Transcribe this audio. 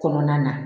Kɔnɔna na